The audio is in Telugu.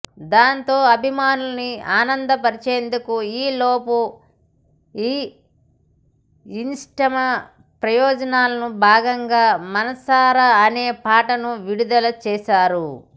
దాంతో అభిమానులని ఆనందపరిచేందుకు ఈలోపు ఈ ఇస్నిమ ప్రమోషన్లో భాగంగా మనసాయారా అనే పాటను విడుదల చేశారు